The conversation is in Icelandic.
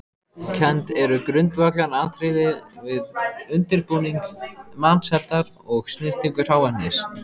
Kennd eru grundvallaratriði við undirbúning matseldar og snyrtingu hráefnis.